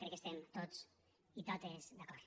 crec que hi estem tots i totes d’acord